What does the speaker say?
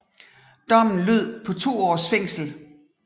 Dommen lød på to års fængsel